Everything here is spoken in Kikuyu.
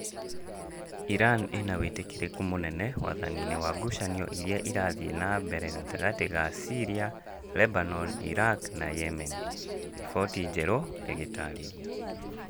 Iran ĩna wĩtĩkĩrĩku mũnene wathaninĩ wa ngucanio irĩa irathiĩ na mbere gatagatĩ ga Syria, Lebanon, Iraq na Yemen - riboti njerũ ĩgĩtarĩria.